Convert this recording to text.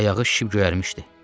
Ayağı şişib göyərmişdi.